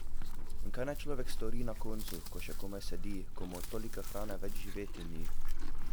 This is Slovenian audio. In kaj naj človek stori na koncu, ko še komaj sedi, ko mu od toliko hrane več živeti ni?